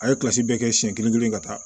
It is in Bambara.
A ye bɛɛ kɛ siɲɛ kelen kelen ka taa